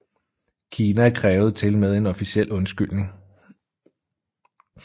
Kina krævede tilmed en officiel undskyldning